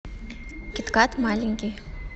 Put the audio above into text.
кит кат маленький